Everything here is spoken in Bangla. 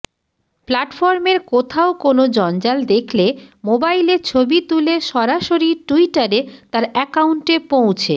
প্ল্যাটফর্মের কোথাও কোনও জঞ্জাল দেখলে মোবাইলে ছবি তুলে সরাসরি টুইটারে তাঁর অ্যাকাউন্টে পৌঁছে